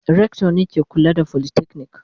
Rector ne ke kula da folytechnic.